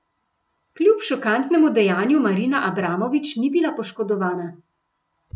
Kljub šokantnemu dejanju Marina Abramović ni bila poškodovana.